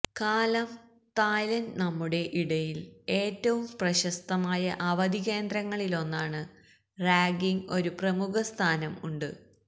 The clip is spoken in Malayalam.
കാലം തായ്ലൻഡ് നമ്മുടെ ഇടയിൽ ഏറ്റവും പ്രശസ്തമായ അവധി കേന്ദ്രങ്ങളിലൊന്നാണ് റാങ്കിംഗ് ഒരു പ്രമുഖ സ്ഥാനം ഉണ്ട്